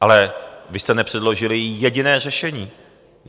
Ale vy jste nepředložili jediné řešení.